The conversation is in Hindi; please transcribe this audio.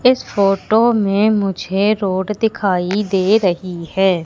इस फोटो में मुझे रोड दिखाई दे रही हैं।